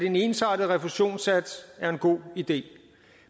en ensartet refusionssats er en god idé